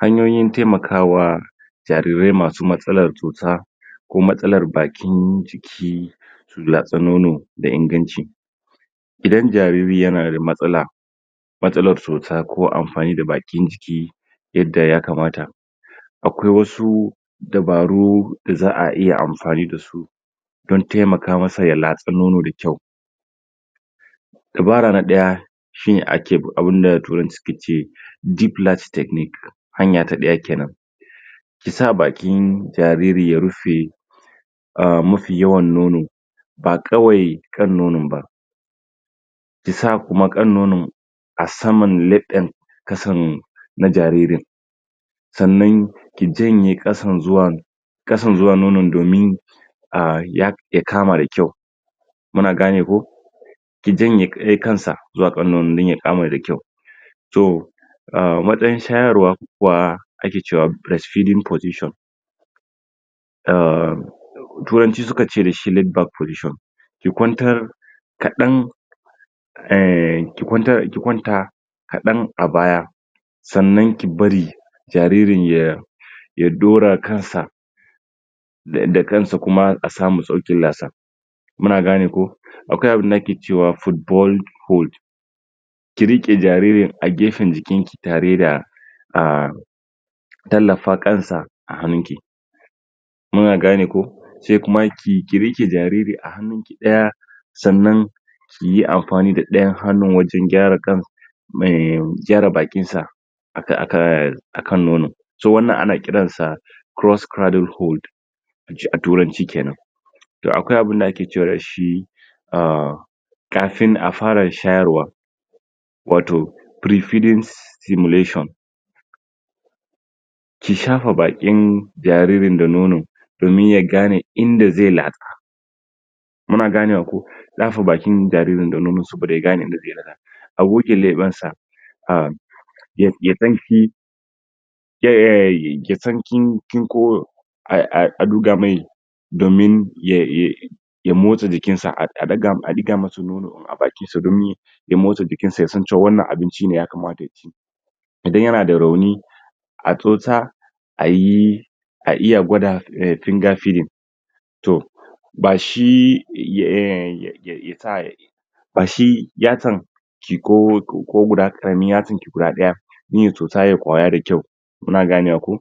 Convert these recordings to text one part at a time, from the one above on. Hanyoyin taimakawa jarirai masu matsalar cuta ko matsalar bakin jiki latsa nono da inganci idan jariri yana da matsala matsalar cuta ko amfani da bakin jiki yadda ya kamata akwai wasu dabaru da za'a iya amfani dasu don taimaka masa ya latsa nono da kyau Dabara na ɗaya shine ake abinda turanci su ke ce "gplat technic" hanya ta ɗaya kenan sa bakin jariri ya rufe mafi yawan nono ba kawai kan nonon ba da sa kuma kan nonon a saman leɓen ƙasan na jaririn. sannan ki janye ƙasan zuwa ƙasan zuwa nonon domin ahh ya ya kama da kyau muna gane ko? ya janye ya kansa zuwa kan nonon don ya kama da kyau toh, a matsayin shayarwa wa ake cewa "breast feeding position" ahh turanci suka ce dashi "layed baack position" ki kwantar kaɗan ehhh ki kwantar.. ki kwanta kaɗan a baya sannan ki bari jaririn ya ya ɗora kansa ta yanda kansa kuma a samu filo a sa muna gane ko? akwai abinda ake cewa football fold ki rike jaririn a gefen jikinki tare da ahh tallafa kansa a hannunki. muna gane ko? sai kuma ki ki rike jariri a hannu ɗaya sannan kiyi amfani da ɗayyan hannun wajen gyara kan mee gyara bakin sa aka akaaa kan nonon, to wannan ana kiransa 'cross craddle hood" ace a turanci kenan akwai abinda ake cewa dashi ahhhh kafin a fara shayarwa wato "pre feeding stimulation" ki shafa bakin jaririn da nono domin ya gane inda zai latsa muna ganewa ko ki dafa bakin jaririn da nono saboda ya gane inda zai latsa a goge leɓensa ahh ya.. ya san.. kin ehhh yasan kin.. kin ko ah ah a ɗuga mai domin ya ye ye ya motsa jikinsa a ɗiga.. a ɗiga masa nono a bakinsa don ya ya motsa jikinsa yasan cewa wannan abinci ne ya kamata ya ci idan yana da rauni a tsotsa ayi a iya gwada "finger feeding" toh bashi eh ye ye ye sa yaci ba bashi yasan ki ko ko guda karamar yatsarki guɗa ɗaya in ya tsotsa ya koya da kyau kuna ganewa ko/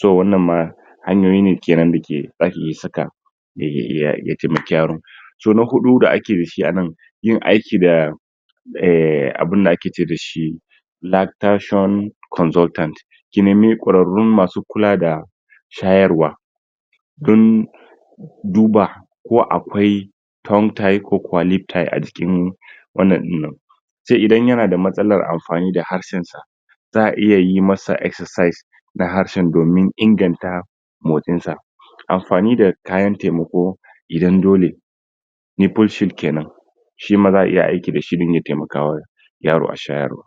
to wannan ma hanyoyi ne da ke zaki iya saka ye ye ye ya taimaki yaron so na huɗu da ake dashi a nan yin aiki da ehhh abinda ake ce dashi "lactation consultant ki nemi ƙwararrun masu kula da shayarwa don duba ko akwai tom type ko kwalin type a cikin wannan din nan sai idan yana da matsalar amfani harshen sa za a iya yi masa excersice na harshen domin inganta motsin sa amfani da kayan taimako idan dole nipple shift kenan shima za a iya aiki da shi zai iya taimakawa yaro a shayarwa